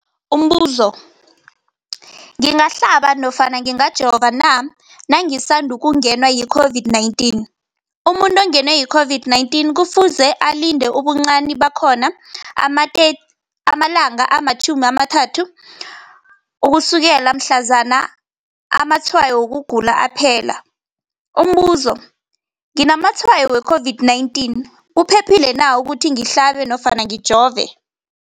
Umbuzo, ngingahlaba nofana ngingajova na nangisandu kungenwa yi-COVID-19? Umuntu ongenwe yi-COVID-19 kufuze alinde ubuncani bakhona ama-30 wama langa ukusukela mhlazana amatshayo wokugula aphela. Umbuzo, nginamatshayo we-COVID-19, kuphephile na ukuthi ngihlabe nofana ngijove?